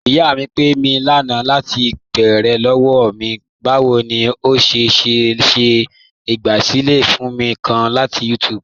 Iyà mí pé mí lánà latí bẹ̀ẹ̀rẹ̀ lọ́wọ́ mí, báwo ni o ṣé le ṣe igbásílẹ̀ fíìmù kàn latí YouTube.